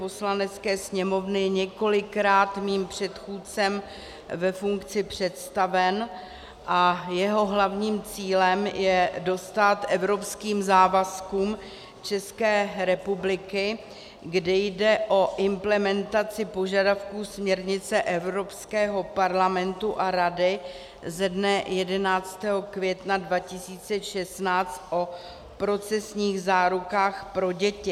Poslanecké sněmovny několikrát mým předchůdcem ve funkci představen a jeho hlavním cílem je dostát evropským závazkům České republiky, kde jde o implementaci požadavků směrnice Evropského parlamentu a Rady ze dne 11. května 2016 o procesních zárukách pro děti.